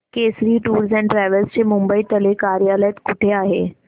Kesari tours and travels चे मुंबई तले कार्यालय कुठे आहे